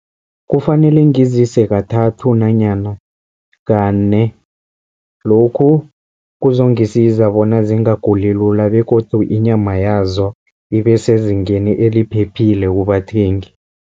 Kufanele ngizise kathathu nanyana kane. Lokhu kuzongisiza bona zingaguli lula begodu inyama yazo ibe sezingeni eliphephile kubathengi.